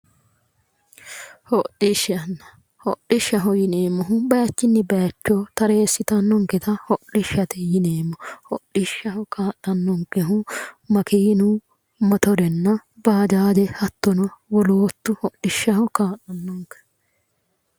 Hodishshanna, hodishshaho yineemmoti bayichinni bayicho tareesittanonketta hodhishshate yineemmo, hodhishshaho kaa'lanonkehu makiinu, Mottorenna bajaaje hattono wolootu hodhishshiho kaa'lanonke